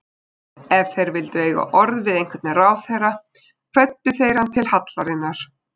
Ef þeir vildu eiga orð við einhvern ráðherra kvöddu þeir hann til hallarinnar.